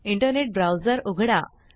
internet browser उघडा